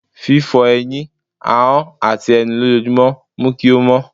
fífó eyín, ahón atí enú lòjojúmo mu kí o mó